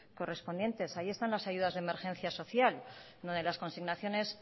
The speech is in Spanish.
correspondientes ahí están las ayudas de emergencia social una de las consignaciones